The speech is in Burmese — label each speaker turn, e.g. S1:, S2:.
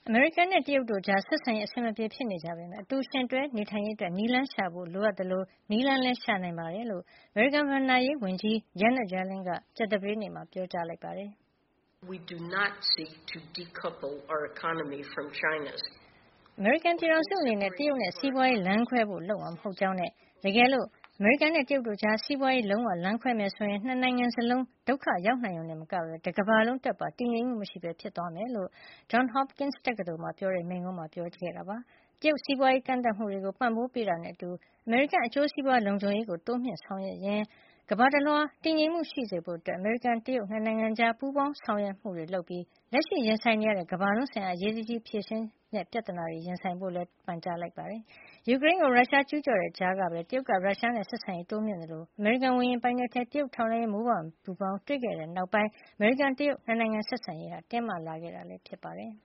S1: အမေရိကန်နဲ့ တရုတ်တို့ကြား ဆက်ဆံရေး အဆင်မပြေဖြစ်နေကြပေမယ့် အတူယှဉ်တွဲ နေထိုင်ရေးအတွက် နည်းလမ်းရှာဖို့လိုအပ်သလို နည်းလမ်းလည်း ရှာနိုင်တယ်လို့ အမေရိကန် ဘဏ္ဍာရေးဝန်ကြီး Janet Yellen က ကြာသပတေးနေ့မှာ ပြောပါတယ်။ " အမေရိကန်ပြည်ထောင်စုအနေနဲ့ တရုတ်နဲ့ စီးပွားရေး လမ်းခွဲဖို့လုပ်မှာ မဟုတ်ကြောင်းနဲ့ တကယ်လို့ အမေရိကန်နဲ့ တရုတ်တို့ကြား စီးပွားရေး လုံးဝ လမ်းခွဲမယ်ဆိုရင် ၂ နိုင်ငံစလုံး ဒုက္ခရောက်နိုင်ရုံတင်မကပဲ တကမ္ဘာလုံးအတွက်ပါ တည်ငြိမ်မှုမရှိပဲ ဖြစ်သွားလိမ့်မယ်လို့လည်း Johns Hopkins တက္ကသိုလ်မှာပြောတဲ့ မိန့်ခွန်းမှာ ထည့်သွင်းပြောကြားခဲ့တာပါ။ တရုတ်ရဲ့ စီးပွားရေး ကန့်သတ်မှုတွေကို ပံ့ပိုးပေးတာနဲ့အတူ အမေရိကန်ရဲ့ အကျိုးစီးပွား လုံခြုံရေးကို တိုးမြှုင့်ဖို့ ဆောင်ရွက်ရင်း ကမ္ဘာတလွှား တည်ငြိမ်မှု ရှိစေဖို့အတွက် အမေရိကန်-တရုတ် ၂ နိုင်ငံကြား ပူးပေါင်းဆောင်ရွက်မှုတွေလုပ်ပြီး၊ လက်ရှိ ရင်ဆိုင်နေရတဲ့ ကမ္ဘာလုံးဆိုင်ရာပြဿနာကို အရေးတကြီး ဖြေရှင်းကြဖို့လည်း ဝန်ကြီး Yellen က ပန်ကြားလိုက်ပါတယ်။ ယူကရိန်းကို ရုရှားက ကျူးကျော်တိုက်ခိုက်နေတဲ့ ကြားကပဲ တရုတ်က ရုရှားနဲ့ ဆက်ဆံရေးကို တိုးမြှင့်ခဲ့သလို အမေရိကန် ဝေဟင်ပိုင်နက်ထဲ တရုတ်ရဲ့ ထောက်လှမ်းရေး မိုးပျံပူဖေါင်း တွေ့ခဲ့တဲ့နောက်ပိုင်း အမေရိကန်- တရုတ် ၂ နိုင်ငံ ဆက်ဆံရေး တင်းမာလာခဲ့တာ ဖြစ်ပါတယ်။